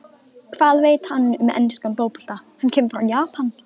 Hvað veit hann um enskan fótbolta, hann kemur frá Japan?